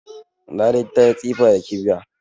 Larai ta yi tsifa da kibiya